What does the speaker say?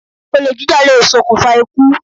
Olè jíjà lè ṣokùnfà ikú